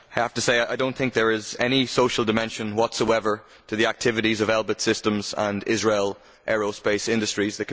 I have to say that I do not think there is any social dimension whatsoever to the activities of Elbit Systems and Israel Aerospace Industries.